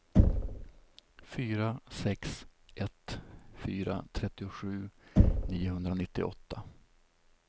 fyra sex ett fyra trettiosju niohundranittioåtta